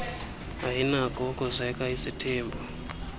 ayinakho ukuzeka isithembu